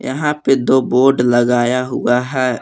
यहां पे दो बोर्ड लगाया हुआ है।